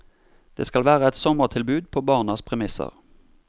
Det skal være et sommertilbud på barnas premisser.